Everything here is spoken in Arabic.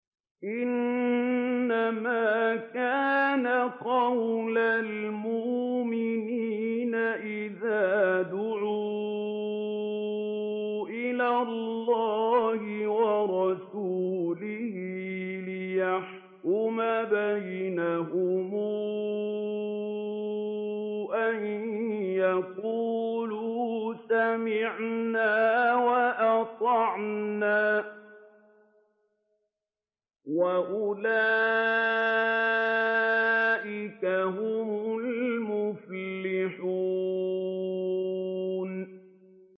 إِنَّمَا كَانَ قَوْلَ الْمُؤْمِنِينَ إِذَا دُعُوا إِلَى اللَّهِ وَرَسُولِهِ لِيَحْكُمَ بَيْنَهُمْ أَن يَقُولُوا سَمِعْنَا وَأَطَعْنَا ۚ وَأُولَٰئِكَ هُمُ الْمُفْلِحُونَ